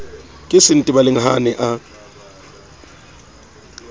ke sentebaleng ha a ne